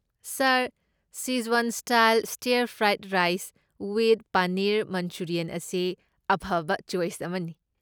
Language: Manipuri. Sir, Sichuan style stir fried rice with paneer manchurian ꯑꯁꯤ ꯑꯐꯕ ꯆꯣꯏꯁ ꯑꯃꯅꯤ꯫